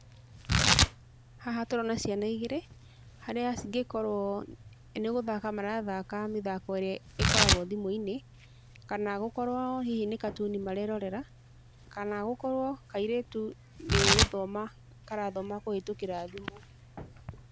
Haha tũrona ciana igĩrĩ, harĩa cingĩkorwo nĩ gũthaka marathaka mĩthako ĩrĩa ĩkoragwo thimũ-inĩ, kana gũkorwo hihi nĩ katuni marerorera, kana gũkorwo kairĩtu nĩ gũthoma karathoma kũhĩtũkĩra thimũ.